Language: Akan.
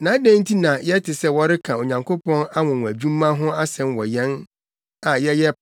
Na adɛn nti na yɛte sɛ wɔreka Onyankopɔn anwonwadwuma ho asɛm wɔ yɛn a yɛyɛ